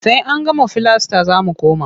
Sai an gama filasta za mu koma.